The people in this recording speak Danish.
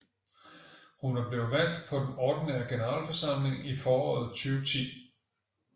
Hun var blevet valgt på den ordinære generalforsamling i foråret 2010